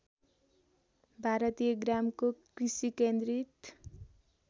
भारतीय ग्रामको कृषिकेन्द्रित